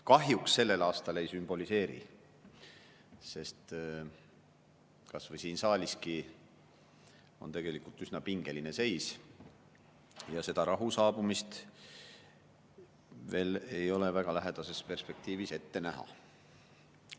Kahjuks sellel aastal ei sümboliseeri, sest kas või siin saaliski on tegelikult üsna pingeline seis ja rahu saabumist veel ei ole väga lähedases perspektiivis ette näha.